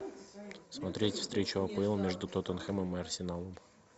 смотреть встречу апл между тоттенхэмом и арсеналом